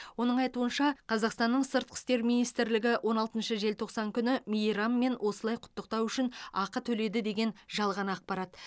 оның айтуынша қазақстанның сыртқы істер министрлігі он алтыншы желтоқсан күні мейраммен осылай құттықтау үшін ақы төледі деген жалған ақпарат